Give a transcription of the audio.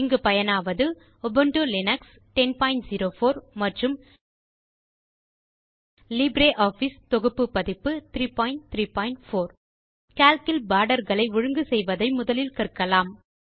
இங்கு பயனாவது Ubuntu Linux 1004 மற்றும் லிப்ரியாஃபிஸ் தொகுப்பு பதிப்பு 334 கால்க் இல் பார்டர்களை ஒழுங்கு செய்வதை முதலில் கற்கலாம்